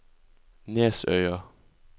Nesøya